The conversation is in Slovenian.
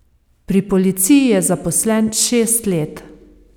Pri policiji je zaposlen šest let.